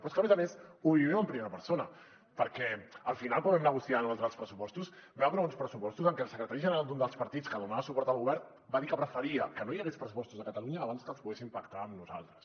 però és que a més a més ho vivim en primera persona perquè al final quan vam negociar nosaltres els pressupostos vam aprovar uns pressupostos en què el secretari general d’un dels partits que donava suport al govern va dir que preferia que no hi hagués pressupostos a catalunya abans que els poguessin pactar amb nosaltres